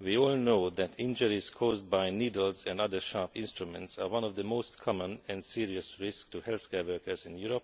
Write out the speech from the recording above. We all know that injuries caused by needles and other sharp instruments are one of the most common and serious risks to healthcare workers in Europe,